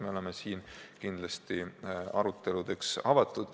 Me oleme kindlasti aruteludeks avatud.